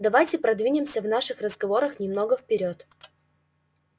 давайте продвинемся в наших разговорах немного вперёд